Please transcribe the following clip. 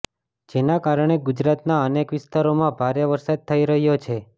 જેના કારણે ગુજરાતના અનેક વિસ્તરોમાં ભારે વરસાદ થઇ રહ્યો છે